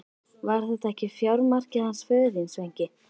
Var þetta ekki fjármarkið hans föður þíns, Sveinki?